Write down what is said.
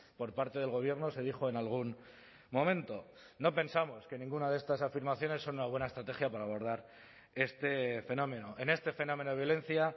por parte del gobierno se dijo en algún momento no pensamos que ninguna de estas afirmaciones son una buena estrategia para abordar este fenómeno en este fenómeno de violencia